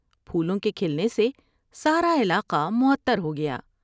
پھولوں کے کھلنے سے سارا علاقہ معطر ہو گیا ۔